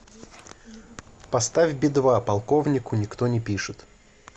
поставь би два полковнику никто не пишет